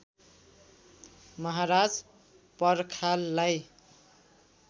महाराज पर्खाललाई